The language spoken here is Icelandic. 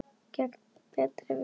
Gegn betri vitund.